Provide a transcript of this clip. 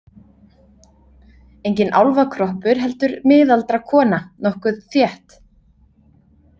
Enginn álfakroppur heldur miðaldra kona, nokkuð þétt.